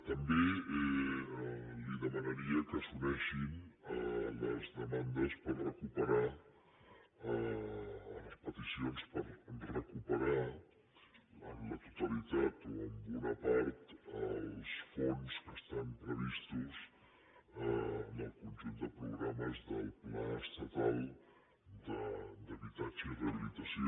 també li demanaria que s’unissin a les demandes a les peticions per recuperar la totalitat o una part dels fons que estan previstos en el conjunt de programes del pla estatal d’habitatge i rehabilitació